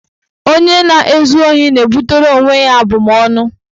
Onye na-ezu ohi na-ebutere onwe ya abụmaọnụ.